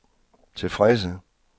tilfredse